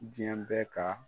Diɲɛ bɛ ka